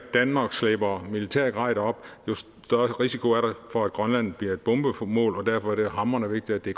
danmark slæber militært grej derop jo større risiko er der for at grønland bliver bombemål og derfor er det hamrende vigtigt at det